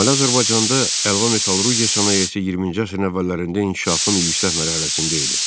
Şimali Azərbaycanda əlva metallurqiya sənayesi 20-ci əsrin əvvəllərində inkişafın yüksək mərhələsində idi.